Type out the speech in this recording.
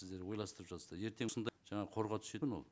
сіздер ойластырып жатсыздар ертең сонда жаңағы қорға түседі ме ол